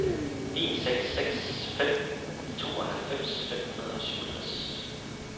en seks seks fem tooghalvfems fem hundrede og syvogtres